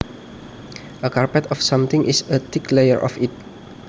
A carpet of something is a thick layer of it